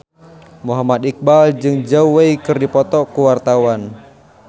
Muhammad Iqbal jeung Zhao Wei keur dipoto ku wartawan